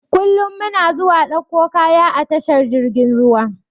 Kullum muna zuwa ɗauko kaya a tashar jirgin ruwa.